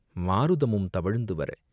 மாருதமும் தவழ்ந்து வர..